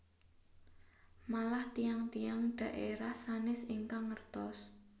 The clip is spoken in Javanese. Malah tiyang tiyang dhaerah sanes ingkang ngertos